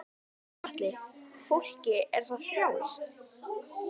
Gunnar Atli: Fólki er það frjálst?